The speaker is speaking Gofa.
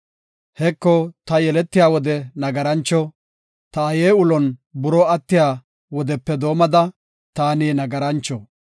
Heko ta yeletiya wode nagarancho; ta aaye ulon buroo attiya, wodepe doomada taani nagarancho.